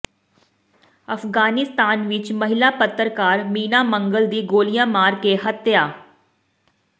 ਅਫਗਾਨਿਸਤਾਨ ਵਿਚ ਮਹਿਲਾ ਪੱਤਰਕਾਰ ਮੀਨਾ ਮੰਗਲ ਦੀ ਗੋਲੀਆਂ ਮਾਰ ਕੇ ਹੱਤਿਆ